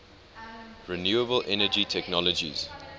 renewable energy technologies